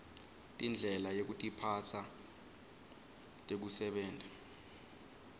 tindlela yekutiphatsa tekusebenta